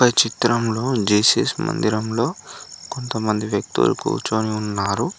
చిత్రంలో జీసస్ మందిరంలో కొంతమంది వ్యక్తులు కూర్చొని ఉన్నారు.